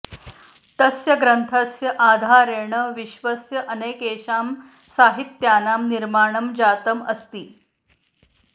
तस्य ग्रन्थस्य आधारेण विश्वस्य अनेकेषां साहित्यानां निर्माणं जातम् अस्ति